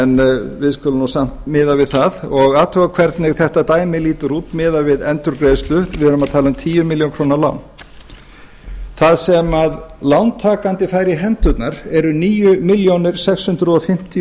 en við skulum samt miða við það og athuga hvernig þetta dæmi lítur út miðað við endurgreiðslu við erum að tala um tíu milljónir króna lán það sem lántakandi fær í hendurnar eru níu komma sex fimm núll